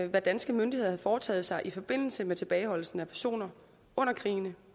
hvad danske myndigheder havde foretaget sig i forbindelse med tilbageholdelsen af personer under krigene